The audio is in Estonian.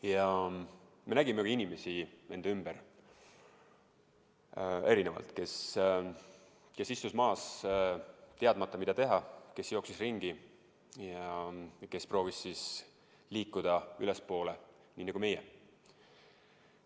Ja me nägime inimesi enda ümber erinevalt: kes istus maas, teadmata, mida teha, kes jooksis ringi ja kes proovis liikuda ülespoole nii nagu meie.